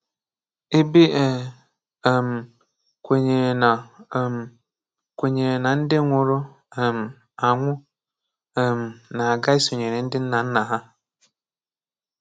Ebe e um kwenyere na um kwenyere na ndị nwụrụ um anwụ um na-aga isonyere ndị nna nna ha.